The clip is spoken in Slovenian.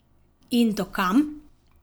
In do kam?